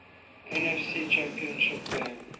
nfc championship game